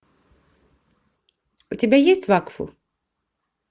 у тебя есть вакфу